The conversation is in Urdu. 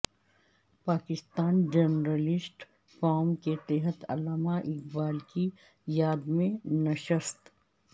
پاکستان جرنلسٹ فورم کے تحت علامہ اقبال کی یاد میں نشست